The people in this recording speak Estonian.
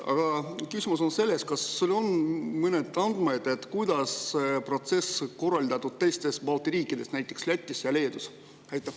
Aga küsimus on see: kas sul on andmed, kuidas on see protsess korraldatud teistes Balti riikides, Lätis ja Leedus?